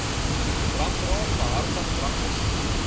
drankraad behartig dranklisensies